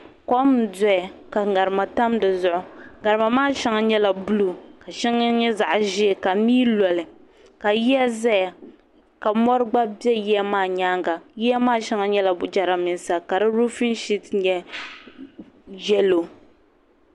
Kom n doya ka ŋarima tam dizuɣu ŋarima maa sheŋa nyɛla buluu sheŋa nyɛ zaɣa ʒee ka mii loli ka yiya zaya ka mori gba be yiya maa nyaanga yiya maa sheŋa nyɛla jirambisa ka di ruufin shiti nyɛ yelo.